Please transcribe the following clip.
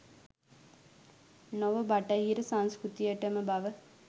නොව බටහිර සංස්කෘතියටම බව